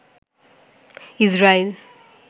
Israel